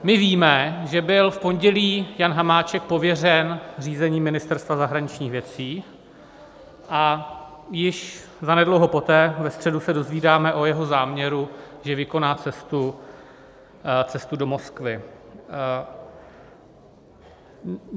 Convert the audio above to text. My víme, že byl v pondělí Jan Hamáček pověřen řízením Ministerstva zahraničních věcí a již zanedlouho poté, ve středu, se dozvídáme o jeho záměru, že vykoná cestu do Moskvy.